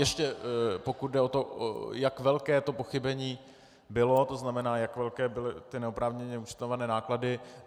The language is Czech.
Ještě pokud jde o to, jak velké to pochybení bylo, to znamená, jak velké byly ty neoprávněně účtované náklady.